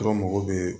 Dɔrɔn mago bɛ